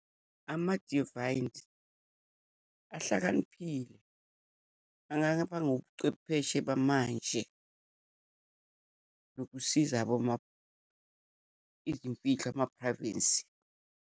Ama-divines ahlakaniphile, angakaba ngobucwepheshe bamanje, nokusiza izimfihlo, ama-privacy.